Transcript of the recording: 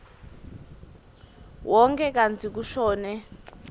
wonkhe kantsi kushone